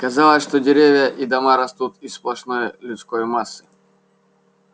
казалось что деревья и дома растут из сплошной людской массы